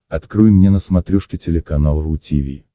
открой мне на смотрешке телеканал ру ти ви